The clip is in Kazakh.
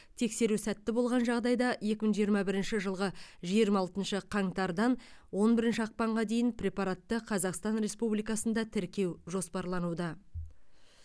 тексеру сәтті болған жағдайда екі мың жиырма бірінші жылғы жиырма алтыншы қаңтардан он бірінші ақпанға дейін препаратты қазақстан республикасында тіркеу жоспарлануда